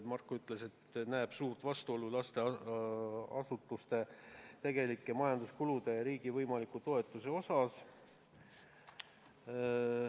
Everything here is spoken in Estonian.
Marko ütles, et ta näeb suurt vastuolu lasteasutuste tegelike majanduskulude ja riigi võimaliku toetuse osas.